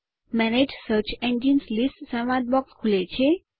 manage search engines list સંવાદ box ખુલે છે